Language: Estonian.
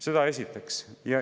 Seda esiteks.